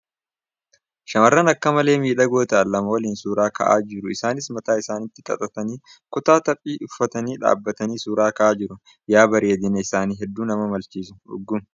Shamarran akka malee miidhagoo ta'an lama waliin suura ka'aa jiru . Isaniis mataa isaaniitti xaxatanii kutaa haphii uffatanii dhaabbatanii suura ka'aa jiru. Yaa bareedina isaanii ! Hedduu nama malalchiisu. Uggum !